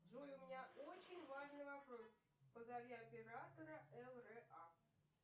джой у меня очень важный вопрос позови оператора лра